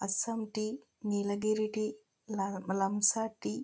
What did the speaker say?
Assam tea Nilgiri tea ల లంస tea --